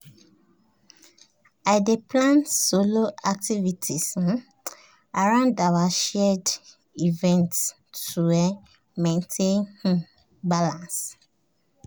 i dey plan solo activities um around our shared events to um maintain um balance.